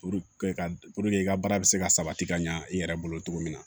ka i ka baara bɛ se ka sabati ka ɲa i yɛrɛ bolo cogo min na